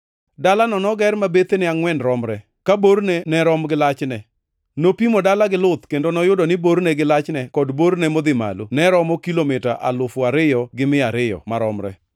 Dalano noger ma bethene angʼwen romre, ka borne ne rom gi lachne. Nopimo dala gi luth kendo noyudo ni borne gi lachne kod borne modhi malo ne romo kilomita alufu ariyo gi mia ariyo (2,200) maromre.